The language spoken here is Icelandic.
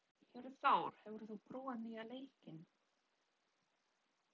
Hjörtþór, hefur þú prófað nýja leikinn?